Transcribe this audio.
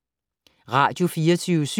Radio24syv